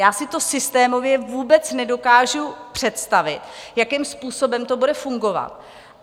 Já si to systémově vůbec nedokážu představit, jakým způsobem to bude fungovat.